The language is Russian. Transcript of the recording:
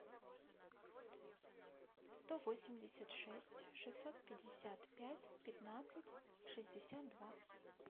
сто восемьдесят шесть шестьсот пятьдесят пять пятнадцать шестьдесят два